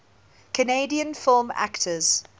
canadian film actors